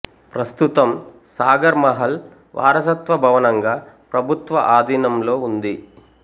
ప్రస్తుతం సాగర్ మహల్ వారసత్వ భవనంగా ప్రభుత్వ ఆధీనంలో ఉంది